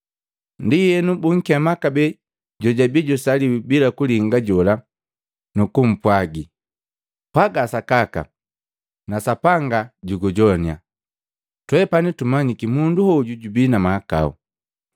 Ndienu bunkema kabee jojabi jusaliwi bila kulinga jola nukumpwagi, “Pwaga sakaka na Sapanga jugujoannya! Twepani tumanyiki mundu hoju jubii na mahakau.”